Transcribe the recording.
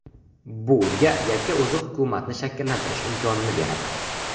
Bu unga yakka o‘zi hukumatni shakllantirish imkonini beradi.